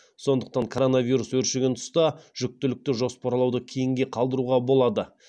сондықтан коронавирус өршіген тұста жүктілікті жоспарлауды кейінге қалдыруға болады